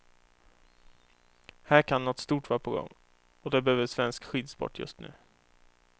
Här kan något stort vara på gång, och det behöver svensk skidsport just nu.